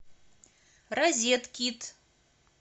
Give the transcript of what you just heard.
розеткид